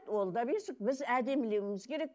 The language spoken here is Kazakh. ол да бесік біз әдемілеуіміз керек